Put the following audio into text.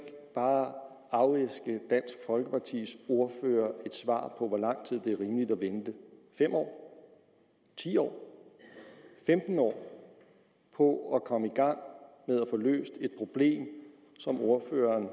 bare afæske dansk folkepartis ordfører et svar på hvor lang tid det er rimeligt at vente fem år ti år femten år på at komme i gang med at få løst et problem som ordføreren